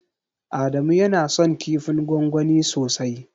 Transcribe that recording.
Adamu yana son kifin gwangwani sosai.